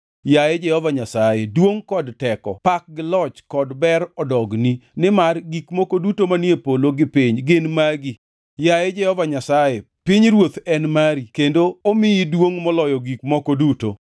Yaye Jehova Nyasaye, duongʼ kod teko, pak gi loch kod ber odogni, nimar gik moko duto manie polo gi piny gin magi. Yaye Jehova Nyasaye, pinyruoth en mari kendo omiyi duongʼ moloyo gik moko duto.